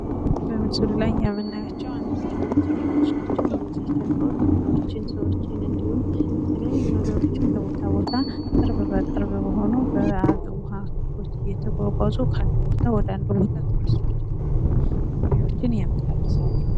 በምስሉ ላይ የምናያቸው አነስተኛ ጀልባዎችን ሲሆን በውሃ ላይ በመንሳፈፍ ሰወችን፣ እቃዎችንና ሌሎች ነገሮችን ከቦታ ቦታ ያመላልሳሉ።